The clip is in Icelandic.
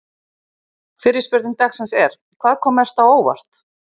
Fyrri spurning dagsins er: Hvað kom mest á óvart?